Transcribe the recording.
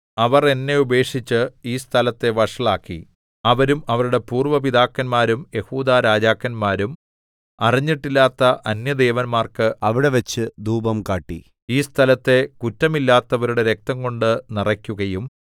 അവർ എന്നെ ഉപേക്ഷിച്ച് ഈ സ്ഥലത്തെ വഷളാക്കി അവരും അവരുടെ പൂര്‍വ്വ പിതാക്കന്മാരും യെഹൂദാരാജാക്കന്മാരും അറിഞ്ഞിട്ടില്ലാത്ത അന്യദേവന്മാർക്ക് അവിടെവച്ച് ധൂപം കാട്ടി ഈ സ്ഥലത്തെ കുറ്റമില്ലാത്തവരുടെ രക്തംകൊണ്ടു നിറയ്ക്കുകയും